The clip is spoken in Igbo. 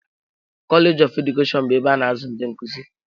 Koleeji of Edukeshọn bụ ebe a na-azụ ndị nkuzi.